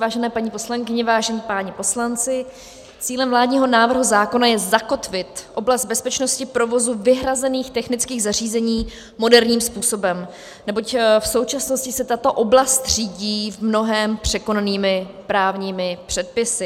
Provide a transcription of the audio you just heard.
Vážené paní poslankyně, vážení páni poslanci, cílem vládního návrhu zákona je zakotvit oblast bezpečnosti provozu vyhrazených technických zařízení moderním způsobem, neboť v současnosti se tato oblast řídí v mnohém překonanými právními předpisy.